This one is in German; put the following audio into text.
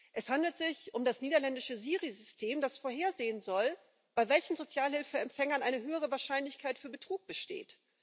Es handelt sich um das niederländische SyRI System, das vorhersehen soll, bei welchen Sozialhilfeempfängern eine höhere Wahrscheinlichkeit für Betrug besteht.